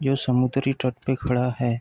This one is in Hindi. जो समुद्री तट पे खड़ा है।